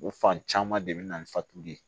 O fan caman de bɛ na ni fatuli ye